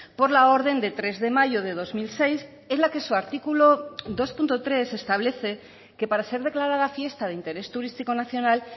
por la orden de tres de mayo de dos mil seis en la que su artículo dos punto tres establece que para ser declarada fiesta de interés turístico nacional